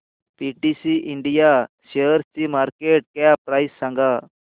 PTC India शेअरची market cap price सांगा